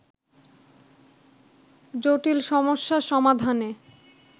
জটিল সমস্যা সমাধানে